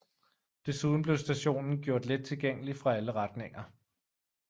Desuden blev stationen gjort let tilgængelig fra alle retninger